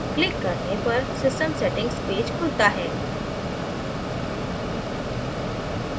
click करने पर system settings page खुलता है